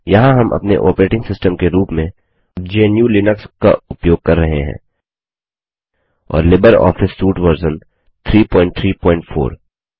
यहाँ हम अपने ऑपरेटिंग सिस्टम के रूप में GNUलिनक्स का उपयोग कर रहे हैं और लिबर ऑफिस सूट वर्जन 334